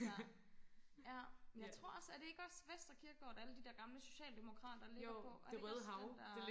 ja ja jeg tror også er det også ikke Vestre Kirkegård at alle de der gamle social demokrater ligger på er det ikke også den der øh